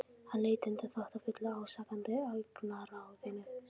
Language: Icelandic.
Hann leit undan þóttafullu ásakandi augnaráðinu.